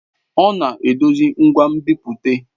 Ọ na-edozi ngwa nbipute.